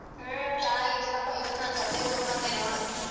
ಹ್ಮ್ ಚನ್ನಾಗಿದ್ದೀನಪ್ಪಾ ಇವತ್ ನಾನ್ ಗದ್ದೆಗ್ ಹೋಗ್ ಬಂದೆ ನೋಡು.